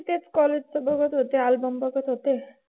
तेच college चं बघत होते album बघत होते.